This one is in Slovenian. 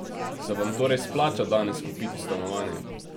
Se vam torej splača danes kupiti stanovanje?